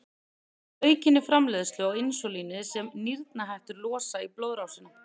Það veldur aukinni framleiðslu á insúlíni sem nýrnahettur losa í blóðrásina.